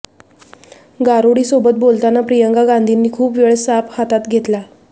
गारुडीसोबत बोलताना प्रियंका गांधींनी खूप वेळा साप हातात घेतला